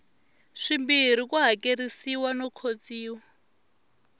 swimbirhi ku hakerisiwa no khotsiwa